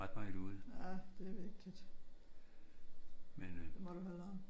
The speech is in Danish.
Ja det er vigtigt. Det må du hellere